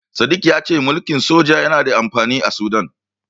Sadik ya ce mulkin soja yana da amfani a Sudan.